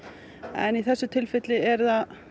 en í þessu tilfelli eru